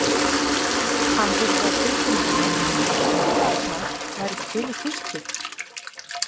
Hafðirðu á tilfinningunni að fólkið þarna væri til í tuskið?